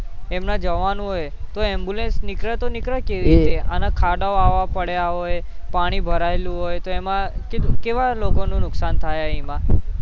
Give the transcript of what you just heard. તેમના જવાન હોય તો ambulance નીકળે તો નીકળે કેવી રીતે અને ખાડાઓ આવા પડ્યા હોય, પાણી ભરાયેલું હોય તો એમાં કેવા લોકોનું નુકસાન થાય એમાં